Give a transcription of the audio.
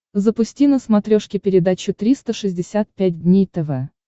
запусти на смотрешке передачу триста шестьдесят пять дней тв